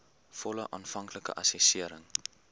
volle aanvanklike assessering